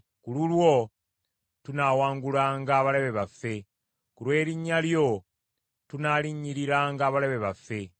Ku lulwo tunaawangulanga abalabe baffe; ku lw’erinnya lyo tunaalinnyiriranga abalabe baffe.